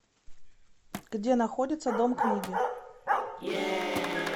где находится дом книги